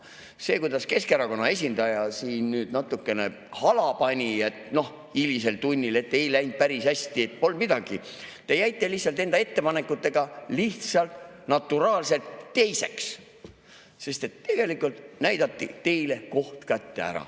See, kuidas Keskerakonna esindaja siin natukene hala pani, noh, hilisel tunnil, et ei läinud päris hästi – pole midagi, te jäite enda ettepanekutega lihtsalt, naturaalselt teiseks, sest tegelikult näidati teile koht kätte.